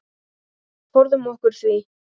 Forðum okkur því.